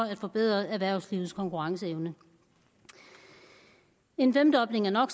at forbedre erhvervslivets konkurrenceevne en femdobling af no